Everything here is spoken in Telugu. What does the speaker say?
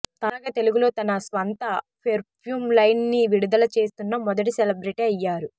తాజాగా తెలుగులో తన స్వంత పెర్ఫ్యూమ్ లైన్ ని విడుదల చేస్తున్న మొదటి సెలబ్రిటీ అయ్యారు